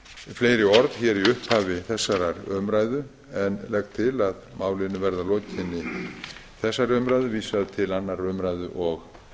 fleiri orð í upphafi þessarar umræðu en legg til að málinu verði að lokinni þessari umræðu vísað til annarrar umræðu og